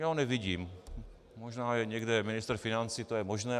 Já ho nevidím, možná je někde ministr financí, to je možné.